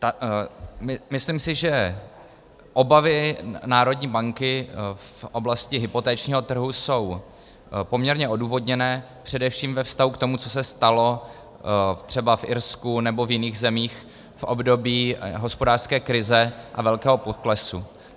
Myslím si, že obavy národní banky v oblasti hypotečního trhu jsou poměrně odůvodněné především ve vztahu k tomu, co se stalo třeba v Irsku nebo v jiných zemích v období hospodářské krize a velkého poklesu.